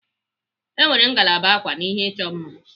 E nwere ngalaba ákwà na ihe ịchọ mma.